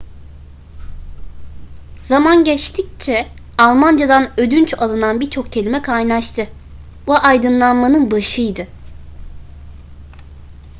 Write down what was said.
zaman geçtikçe almancadan ödünç alınan birçok kelime kaynaştı bu aydınlanmanın başıydı